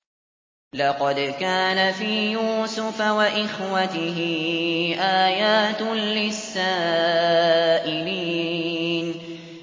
۞ لَّقَدْ كَانَ فِي يُوسُفَ وَإِخْوَتِهِ آيَاتٌ لِّلسَّائِلِينَ